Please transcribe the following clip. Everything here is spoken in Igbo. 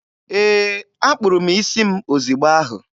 Ee, akpụrụ m isi m ozigbo ahụ.